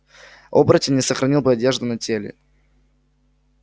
оборотень не сохранил бы одежду на теле